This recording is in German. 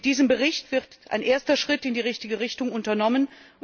Mit diesem Bericht wird ein erster Schritt in die richtige Richtung unternommen.